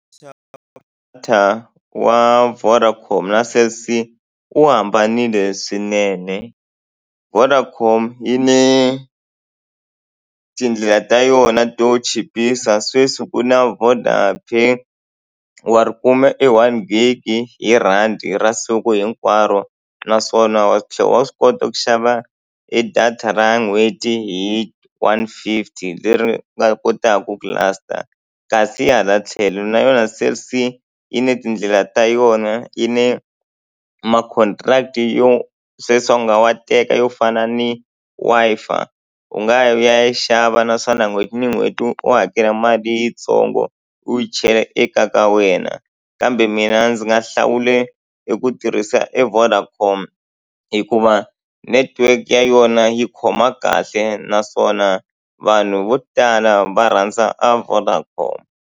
wa Vodacom na Cell C wu hambanile swinene. Vodacom yi na tindlela ta yona to chipisa, sweswi ku na VodaPay wa ri kume e one gig-i hi rhandi ra siku hinkwaro. Naswona wa tlhela wa swi kota ku xava e data ra n'hweti hi one fifty leri nga kotaka ku last-a. Kasi hala tlhelo na yona Cell C yi na tindlela ta yona, yi na ma contract-i yo sweswi u nga wa teka yo fana ni Wi-Fi. U nga yi ya yi xava naswona n'hweti ni n'hweti u hakela mali yitsongo, u yi chela ekaya ka wena. Kambe mina ndzi nga hlawula eku tirhisa e Vodacom hikuva network ya yona yi khoma kahle, naswona vanhu vo tala va rhandza a Vodacom.